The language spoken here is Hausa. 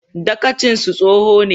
Dagacinsu tsoho ne.